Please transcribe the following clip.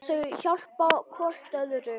Þau hjálpa hvort öðru.